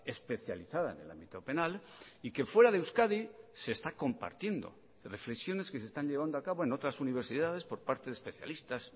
especializada en el ámbito penal y que fuera de euskadi se está compartiendo reflexiones que se están llevando a cabo en otras universidades por parte de especialistas